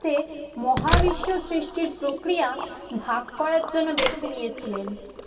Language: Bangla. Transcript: তে মহাবিশ্ব সৃষ্টির প্রক্রিয়া ভাগ করার জন্য বেছে নিয়েছিলেন।